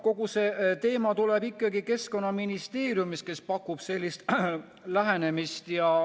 Kogu see teema tuleb ikkagi Keskkonnaministeeriumist, kes pakub sellist lähenemist.